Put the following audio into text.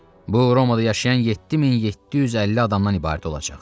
Bu Romada yaşayan 7750 adamdan ibarət olacaq.